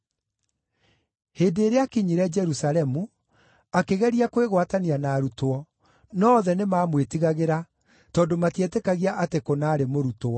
Hĩndĩ ĩrĩa aakinyire Jerusalemu, akĩgeria kwĩgwatania na arutwo, no othe nĩmamwĩtigagĩra, tondũ matietĩkagia atĩ kũna aarĩ mũrutwo.